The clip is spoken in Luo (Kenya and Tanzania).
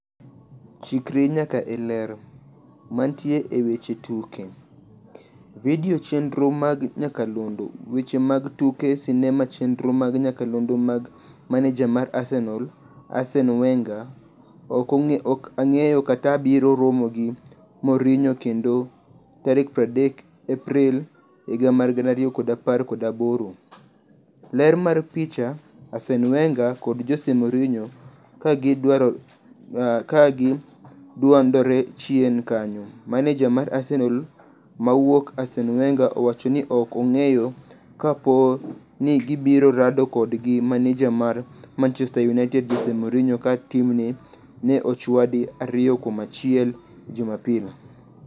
Chikri nyaka e Ler. Mantie e weche tuke. Video chenro mag nyakalondo. Weche mag tuke sinema chenro mag nyakalondo mar Maneja mar Arsenal, Arsene Wenger: ok ang'eyo kata abiro romo gi Mourinho kendo 30 Aprili 2018.Ler mar picha, Arsene Wenger kod Jose Mourinho ka gi gwandore chien kanyo. Maneja mar Arsenal mawuok, Arsene Wenger owacho ni ok ong'eyo ka poo ni gibiro rado kendo gi maneja mar Manchester United Jose Mourinho ka timne ne ochwadi 2-1 Jumapil.